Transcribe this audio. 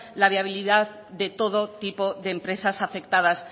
la viabilidad de todo tipo de empresas afectadas